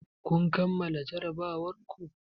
Kun kammala jarrabawar ku?